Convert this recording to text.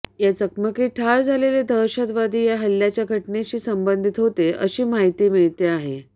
या चकमकीत ठार झालेले दहशतवादी या हल्ल्याच्या घटनेशी संबंधीत होते अशी माहिती मिळते आहे